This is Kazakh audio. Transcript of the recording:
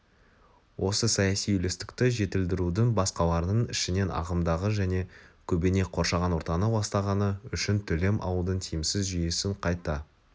осы саяси үйлестікті жетілдірудің басқаларының ішінен ағымдағы және көбіне қоршаған ортаны ластағаны үшін төлем алудың тиімсіз жүйесін қайта